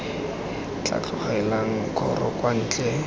tla tlolelang kgoro kwa ntle